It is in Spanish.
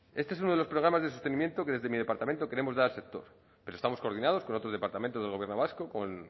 este es uno de los programas de sostenimiento que desde mi departamento queremos dar al sector pero estamos coordinados por otro departamento del gobierno vasco con